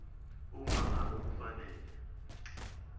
uma ngabe kufanele